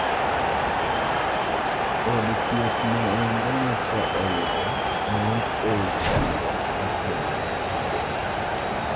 Od thieth no endo nyocha oyudo monj ei chakruok mar juma manyoro.